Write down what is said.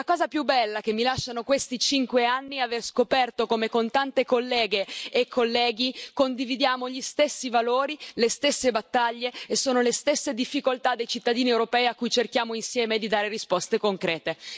E la cosa più bella che mi lasciano questi cinque anni è aver scoperto come, con tante colleghe e colleghi, condividiamo gli stessi valori, le stesse battaglie e sono le stesse difficoltà dei cittadini europei a cui cerchiamo insieme di dare risposte concrete.